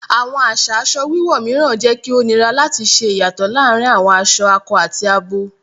Awọn aṣa aṣọ wíwọ̀ míràn jẹ kí o nírà láti ṣè iyátọ̀ làárìn awọn aṣọ àkọ̀ àti àbọ̀